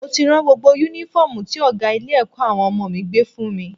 Mo ti rán gbogbo Únífọ́ọ̀mù tí ọ̀gá ilé-ẹ̀kọ́ àwọn ọmọ mi gbé fún mi